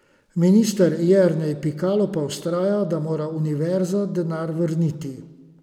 Minister Jernej Pikalo pa vztraja, da mora univerza denar vrniti.